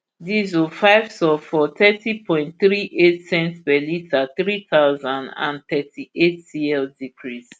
diesel five sulphur thirty point three eight cents per litre three thousand and thirty-eight cl decrease